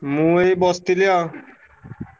ମୁଁ ଏଇ ବସଥିଲି ଆଉ।